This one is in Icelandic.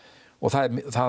og það